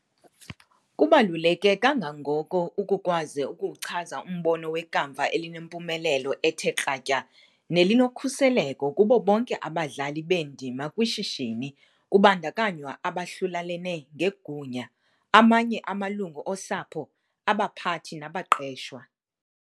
Kubaluleke kangangoko ukukwazi ukuwuchaza umbono wekamva elinempumelelo ethe kratya nelinokhuseleko kubo bonke abadlali beendima kwishishini kubandakanywa abahlulelane ngegunya, amanye amalungu osapho, abaphathi nabaqeshwa.